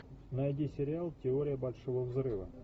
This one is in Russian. найди сериал теория большого взрыва